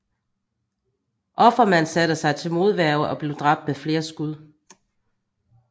Offerman satte sig til modværge og blev dræbt med flere skud